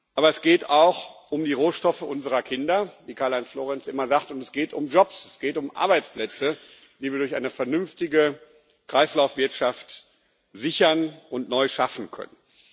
Aber es geht auch um die Rohstoffe unserer Kinder, wie Karl Heinz Florenz immer sagt, und es geht um Jobs, es geht um Arbeitsplätze, die wir durch eine vernünftige Kreislaufwirtschaft sichern und neu schaffen können.